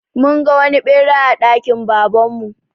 Mun ga wani ɓera a dakin Baban mu.